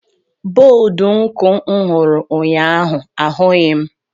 Bọdụ nku m hụrụ ụnyaahụ ahụghị m.